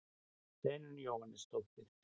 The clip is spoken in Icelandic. Steinunn Jóhannesdóttir.